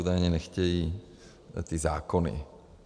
Údajně nechtějí ty zákony.